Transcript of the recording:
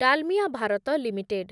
Dalmia Bharat limited